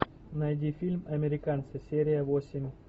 найди фильм американцы серия восемь